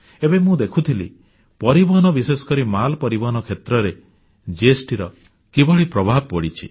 ଏବେ ମୁଁ ଦେଖୁଥିଲି ପରିବହନ ବିଶେଷ କରି ମାଲ ପରିବହନ କ୍ଷେତ୍ରରେ GSTର କିଭଳି ପ୍ରଭାବ ପଡ଼ିଛି